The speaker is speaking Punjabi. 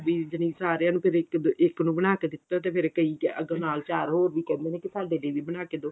ਵੀ ਜਣੀ ਸਾਰੀਆਂ ਨੂੰ ਕਦੇ ਇੱਕ ਨੂੰ ਇੱਕ ਬਣਾ ਕੇ ਦਿੱਤਾ ਤੇ ਫਿਰ ਕਈ ਅਗਰ ਨਾਲ ਚਾਰ ਹੋਰ ਵੀ ਕਹਿ ਦਿਨੇ ਏ ਕੀ ਸਾਡੇ ਲਈ ਵੀ ਬਣਾ ਕੇ ਦਊ